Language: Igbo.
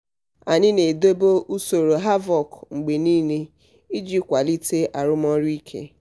anyị na-edobe usoro hvac mgbe niile iji kwalite arụmọrụ ike.